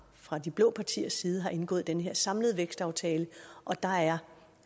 fra de blå partiers side har indgået den her samlede vækstaftale og der er